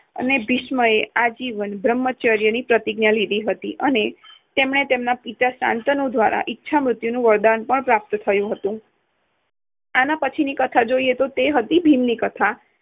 અને ભીષ્મએ આજીવન બ્રહ્મચર્યની પ્રતિજ્ઞા લીધી હતી અને તેમણે તેમને પિતા શાંતનુ દ્વારા ઇચ્છામૃત્યુનું વરદાન પણ પ્રાપ્ત થયું હતું. આના પછી ની કથા જોઈએ તો તે હતી તો તે હતી ભીમની કથા